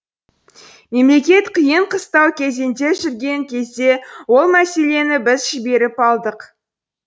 мемлекет қиын қыстау кезеңде жүрген кезде ол мәселені біз жіберіп алдық